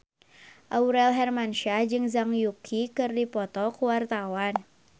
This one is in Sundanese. Aurel Hermansyah jeung Zhang Yuqi keur dipoto ku wartawan